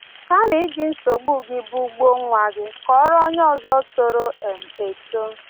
Kama iji nsogbu gị bugbuo nwa gị, kọọrọ onye ọzọ toro um eto.